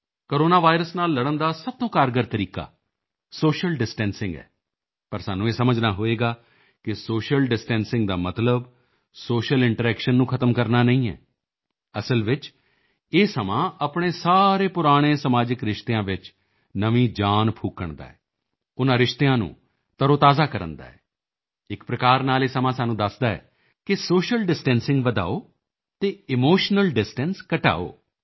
corona virus ਨਾਲ ਲੜਨ ਦਾ ਸਭ ਤੋਂ ਕਾਰਗਰ ਤਰੀਕਾ ਸੋਸ਼ੀਅਲ ਡਿਸਟੈਂਸਿੰਗ ਹੈ ਪਰ ਸਾਨੂੰ ਇਹ ਸਮਝਣਾ ਹੋਵੇਗਾ ਕਿ ਸੋਸ਼ੀਅਲ ਡਿਸਟੈਂਸਿੰਗ ਦਾ ਮਤਲਬ ਸੋਸ਼ੀਅਲ ਇੰਟਰੈਕਸ਼ਨ ਨੂੰ ਖ਼ਤਮ ਕਰਨਾ ਨਹੀਂ ਹੈ ਅਸਲ ਵਿੱਚ ਇਹ ਸਮਾਂ ਆਪਣੇ ਸਾਰੇ ਪੁਰਾਣੇ ਸਮਾਜਿਕ ਰਿਸ਼ਤਿਆਂ ਵਿੱਚ ਨਵੀਂ ਜਾਨ ਫੂਕਣ ਦਾ ਹੈ ਉਨ੍ਹਾਂ ਰਿਸ਼ਤਿਆਂ ਨੂੰ ਤਰੋਤਾਜ਼ਾ ਕਰਨ ਦਾ ਹੈ ਇੱਕ ਪ੍ਰਕਾਰ ਨਾਲ ਇਹ ਸਮਾਂ ਸਾਨੂੰ ਦੱਸਦਾ ਹੈ ਕਿ ਸੋਸ਼ੀਅਲ ਡਿਸਟੈਂਸਿੰਗ ਵਧਾਓ ਅਤੇ ਇਮੋਸ਼ਨਲ ਡਿਸਟੈਂਸ ਘਟਾਓ